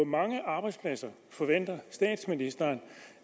mange arbejdspladser forventer statsministeren